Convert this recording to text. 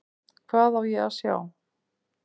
Hvað á ég að sjá?